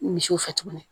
Misiw fɛ tuguni